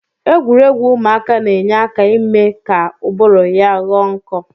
Egwuregwu ụmụaka na-enye aka ime ka ụbụrụ ya ghọọ nkọ